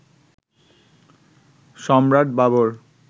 Samrat Babur